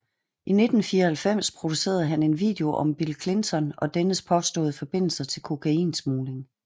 I 1994 producerede han en video om Bill Clinton og dennes påståede forbindelser til kokainsmugling